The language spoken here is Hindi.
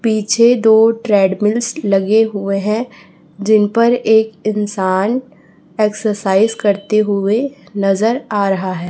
पीछे दो ट्रेडमिल्स लगे हुए हैं जिन पर एक इंसान एक्सरसाइज करते हुए नजर आ रहा है।